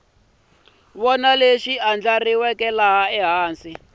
wana lexi endliwaka ehansi ka